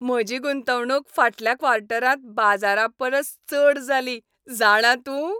म्हजी गुंतवणूक फाटल्या क्वॉर्टरांत बाजारापरस चड जाली, जाणा तूं?